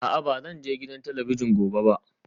A'a ba zan je gidan talabijin ba gobe